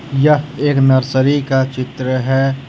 यह एक नर्सरी का चित्र है।